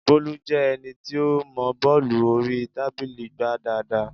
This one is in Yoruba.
Bólú jẹ́ ẹni tí ó mọọ bọ́ọ̀lù orí tábìlì gbá dáadáa